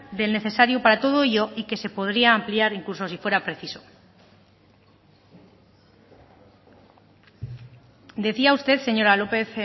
del necesario para todo ello y que se podría ampliar incluso si fuera preciso decía usted señora lopez